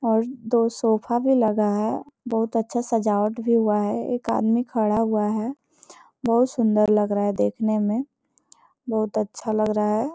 और दो सोफा भी लगा है बहुत अच्छा सजावट भी हुआ है एक आदमी खड़ा हुआ है बहुत सुंदर लग रहा है देखने में बहुत अच्छा लग रहा है।